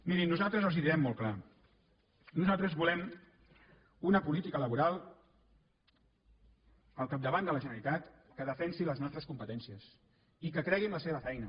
mirin nosaltres els ho direm molt clar nosaltres volem una política laboral al capdavant de la generalitat que defensi les nostres competències i que cregui en la seva feina